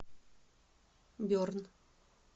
берн